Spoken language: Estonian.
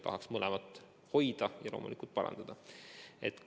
Tahaks mõlemat hoida ja loomulikult olukorda parandada.